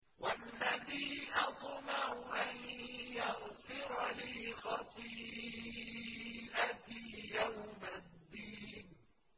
وَالَّذِي أَطْمَعُ أَن يَغْفِرَ لِي خَطِيئَتِي يَوْمَ الدِّينِ